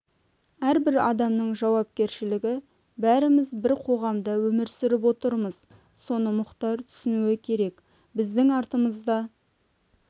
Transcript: әрбір адамның жауапкершілігі бәріміз бір қоғамда өмір сүріп отырмыз соны мұхтар түсінуі керек біздің артымызда